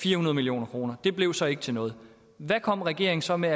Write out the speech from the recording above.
fire hundrede million kroner det blev så ikke til noget hvad kom regeringen så med